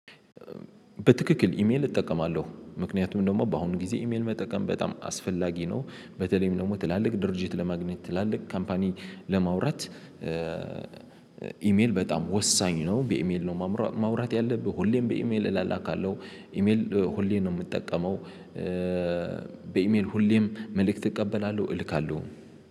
በትክክል ኢሜል እጠቀማለሁ ምክንያቱም ደግሞ በአሁኑ ጊዜ ኢሜል መጠቀም በጣም አስፈላጊ ነው። በተለይም ደግሞ ትላልቅ ድርጅት ለማግኘት ትላልቅ ካምፓኒ ለማውራት። ኢሜል በጣም ወሳኝ ነው በኢሜል ነው ማውራት ማውራት ያለብህ ሁሌም በኢሜል እላላካለሁ ኢሜል ሁሌ ነው የምጠቀመው። በኢሜል ሁሌም መልእክት እቀበላለሁ እልካለሁ